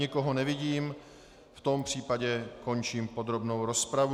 Nikoho nevidím, v tom případě končím podrobnou rozpravu.